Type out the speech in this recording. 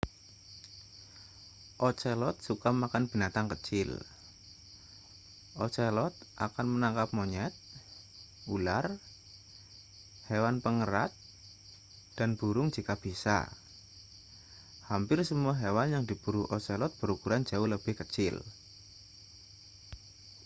ocelot suka makan binatang kecil ocelot akan menangkap monyet ular hewan pengerat dan burung jika bisa hampir semua hewan yang diburu ocelot berukuran jauh lebih kecil